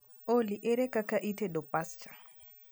olly ere kaka itedo pasta